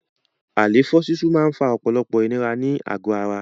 Àléfọ́ sísú máa ń fa ọ̀pọ̀lọpọ̀ ìnira ní àgò ara.